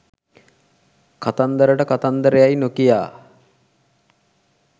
කතන්දරට කතන්දර යැයි නොකියා